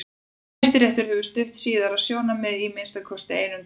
Hæstiréttur hefur stutt síðara sjónarmiðið í að minnsta kosti einum dómi.